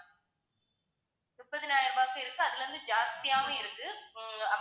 முப்பதாயிரம் ரூபாய்க்கும் இருக்கு அதுலருந்து ஜாஸ்தியாவும் இருக்கு உம்